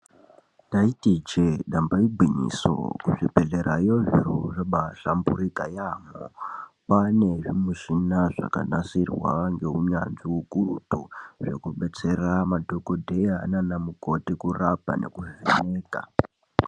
Ndaiti iinje damba igwinyiso kuzvibhedhlerayo zviro zvabahlamburika yamho kwane zvimishina zvakanasirwa ngeunyanzvi ukurutu zvekubetsera madhokodheya nana mukoti kurapa nekuzvinika.